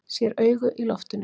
Sé augu í loftinu.